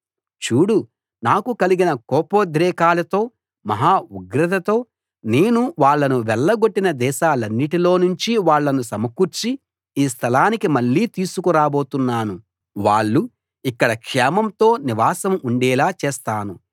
చూడు నాకు కలిగిన కోపోద్రేకాలతో మహా ఉగ్రతతో నేను వాళ్ళను వెళ్లగొట్టిన దేశాలన్నిటిలో నుంచి వాళ్ళను సమకూర్చి ఈ స్థలానికి మళ్ళీ తీసుకు రాబోతున్నాను వాళ్ళు ఇక్కడ క్షేమంతో నివాసం ఉండేలా చేస్తాను